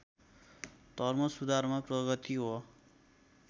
धर्मसुधारमा प्रगति हो